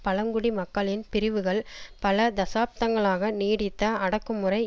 பழங்குடி மக்களின் பிரிவுகள் பல தசாப்தங்களாக நீடித்த அடக்கு முறை